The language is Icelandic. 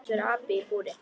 Þóttist vera api í búri.